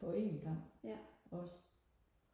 på en gang også